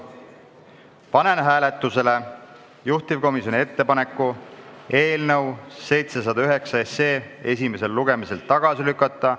Panen hääletusele juhtivkomisjoni ettepaneku eelnõu 709 esimesel lugemisel tagasi lükata.